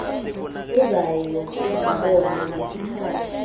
uzayo ndibona ngesithatha